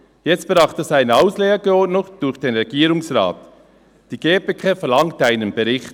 Jetzt braucht es eine Auslegeordnung durch den Regierungsrat» die GPK verlangt einen Bericht.